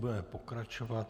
Budeme pokračovat.